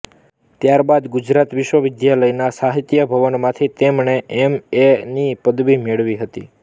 ત્યાર બાદ ગુજરાત વિશ્વવિદ્યાલયના સાહિત્ય ભવનમાંથી તેમણે એમ એ ની પદવી મેળવી